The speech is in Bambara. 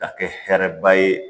Ka kɛ hɛrɛba ye